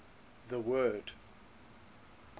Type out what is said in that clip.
the word